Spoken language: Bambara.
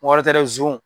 Wari tɛ dɛ zon